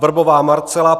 Vrbová Marcela